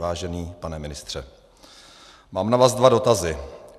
Vážený pane ministře, mám na vás dva dotazy.